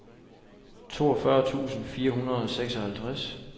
toogfyrre tusind fire hundrede og seksoghalvtreds